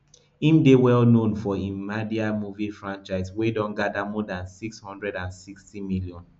im dey well known for im madea movie franchise wey don gada more dan six hundred and sixty million